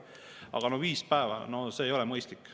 Aga viis päeva – see ei ole mõistlik.